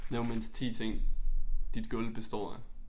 Nævn mindst 10 ting dit gulv består af